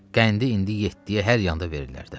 Qəndi indi yeddiyə hər yanda verirlər də.